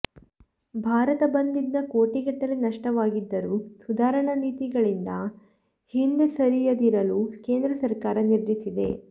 ಭಾರತ್ ಬಂದ್ನಿಂದ ಕೋಟಿಗಟ್ಟಲೆ ನಷ್ಟವಾಗಿದ್ದರೂ ಸುಧಾರಣಾ ನೀತಿಗಳಿಂದ ಹಿಂದೆ ಸರಿಂುುದಿರಲು ಕೇಂದ್ರ ಸರಕಾರ ನಿರ್ಧರಿಸಿದೆ